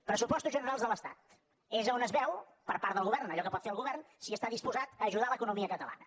pressupostos generals de l’estat és a on es veu per part del govern en allò que pot fer el govern si està disposat a ajudar l’economia catalana